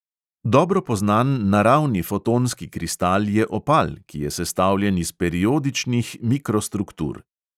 Dobro poznan naravni fotonski kristal je opal, ki je sestavljen iz periodičnih mikrostruktur.